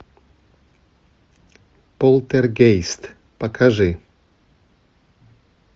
полтергейст покажи